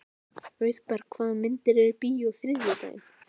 Auðberg, hvaða myndir eru í bíó á þriðjudaginn?